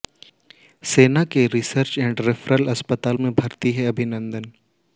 सेना के research and referral अस्पताल में भर्ती हैं अभिनंदन